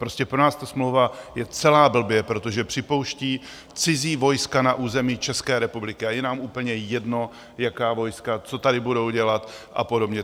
Prostě pro nás ta smlouva je celá blbě, protože připouští cizí vojska na území České republiky, a je nám úplně jedno, jaká vojska, co tady budou dělat a podobně!